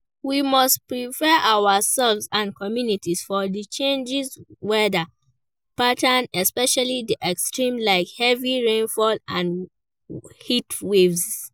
We must prepare ourselves and communities for di changing weather patterns especially di extremes like heavy rainfall and heatwaves.